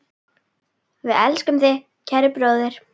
Við elskum þig, kæri bróðir.